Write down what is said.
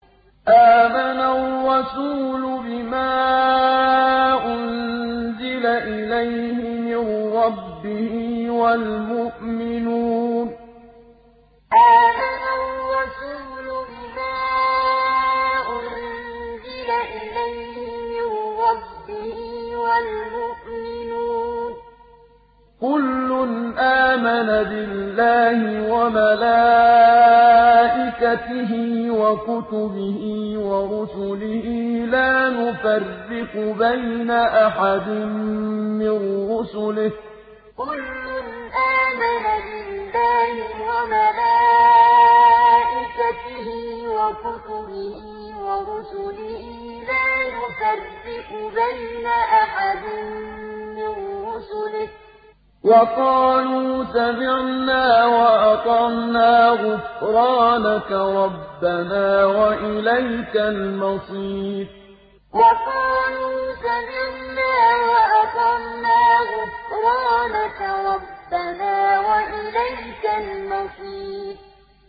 آمَنَ الرَّسُولُ بِمَا أُنزِلَ إِلَيْهِ مِن رَّبِّهِ وَالْمُؤْمِنُونَ ۚ كُلٌّ آمَنَ بِاللَّهِ وَمَلَائِكَتِهِ وَكُتُبِهِ وَرُسُلِهِ لَا نُفَرِّقُ بَيْنَ أَحَدٍ مِّن رُّسُلِهِ ۚ وَقَالُوا سَمِعْنَا وَأَطَعْنَا ۖ غُفْرَانَكَ رَبَّنَا وَإِلَيْكَ الْمَصِيرُ آمَنَ الرَّسُولُ بِمَا أُنزِلَ إِلَيْهِ مِن رَّبِّهِ وَالْمُؤْمِنُونَ ۚ كُلٌّ آمَنَ بِاللَّهِ وَمَلَائِكَتِهِ وَكُتُبِهِ وَرُسُلِهِ لَا نُفَرِّقُ بَيْنَ أَحَدٍ مِّن رُّسُلِهِ ۚ وَقَالُوا سَمِعْنَا وَأَطَعْنَا ۖ غُفْرَانَكَ رَبَّنَا وَإِلَيْكَ الْمَصِيرُ